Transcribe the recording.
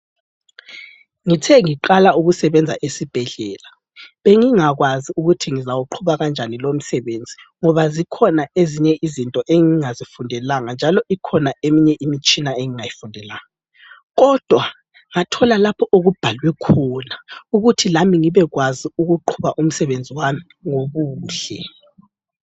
Ngithe ngiqala ukusebenza esibhedlela bengingakwazi ukuthi ngizawuqhuba kanjani lomsebenzi ngoba zikhona ezinye izinto engingazifundelanga njalo ikhona eminye imtshina engingayifundelanga kodwa ngathola lapho okubhalwe khona ukuthi lami ngibekwazi ukuqhuba umsebenzi wami ngobuhle.